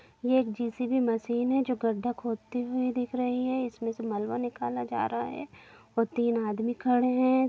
ये एक JCB. Machine है जो गड्ढा खोदती हुई दिख रही है इसमें से मलवा निकला जा रहा है और तीन आदमी खड़े है।